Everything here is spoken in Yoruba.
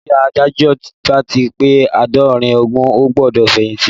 Tí Adájọ́ bá ti pé Àádọ́rin ọdún ó gbọ́dọ̀ fẹ̀yìntì